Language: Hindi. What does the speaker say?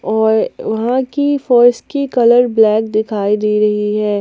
और वहां की फर्श की कलर ब्लैक दिखाई दे रही है।